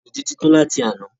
Ìnùdí ti tan láti àná.